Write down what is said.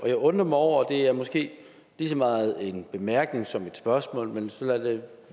jeg undrer mig over det er måske lige så meget en bemærkning som et spørgsmål men så lad det